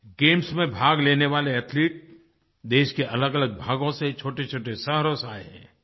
games में भाग लेने वाले एथलीट्स देश के अलगअलग भागों से छोटेछोटे शहरों से आये हैं